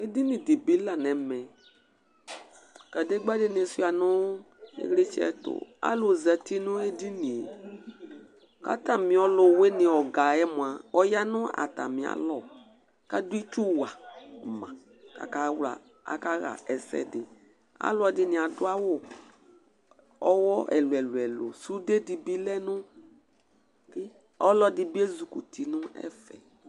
Edɩŋɩ dibi la nɛmɛ Kadegba dini sʊa ŋʊ ɩƴlɩtsɛ tʊ Alʊ zatɩ ŋʊ edɩŋɩe Katamɩ ɔlʊwɩŋɩ ɔga ƴɛ mʊa ɔƴa ŋʊ atamɩ alɔ kadʊ ɩtsʊ wama, aka ƴa ɛs3dɩ Alʊ ɛdɩŋɩ adʊ awʊ ɔƴɔ ɛlʊɛlʊ Sʊde dibi olɛ ŋʊ Ɔlɔdɩ dibɩ ezɩkʊtɩ Neff